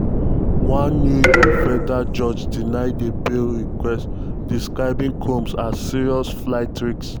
one new york federal judge deny di bail request describing combs as “serious flight risk”.